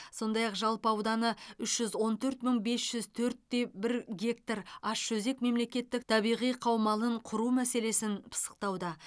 сондай ақ жалпы ауданы үш жүз он төрт мың бес жүз төрт те бір гектар ащыөзек мемлекеттік табиғи қаумалын құру мәселесін пысықтауда